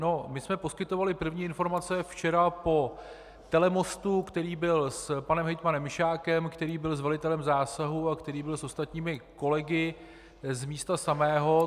No, my jsme poskytovali první informace včera po telemostu, který byl s panem hejtmanem Mišákem, který byl s velitelem zásahu a který byl s ostatními kolegy z místa samého.